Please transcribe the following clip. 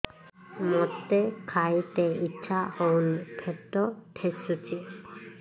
ମୋତେ ଖାଇତେ ଇଚ୍ଛା ହଉନି ପେଟ ଠେସୁଛି